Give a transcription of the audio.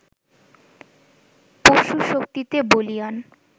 পশুশক্তিতে বলীয়ান